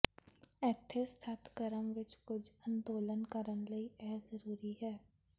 ਇੱਥੇ ਸਖਤ ਕ੍ਰਮ ਵਿੱਚ ਕੁਝ ਅੰਦੋਲਨ ਕਰਨ ਲਈ ਇਹ ਜ਼ਰੂਰੀ ਹੈ